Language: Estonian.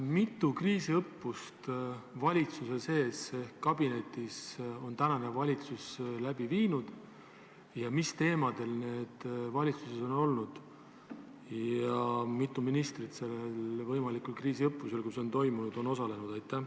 Mitu kriisiõppust valitsuses ehk kabinetis on tänane valitsus läbi viinud, mis teemadel need on olnud ja mitu ministrit sellel kriisiõppusel, kui see on toimunud, on osalenud?